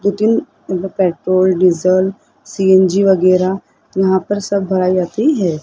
दो तीन मतलब पेट्रोल डीजल सी_एन_जी वगैरह यहां पर सब भराई जाती है।